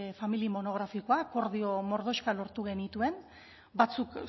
familia monografikoa akordio mordoxkak lortu genituen batzuk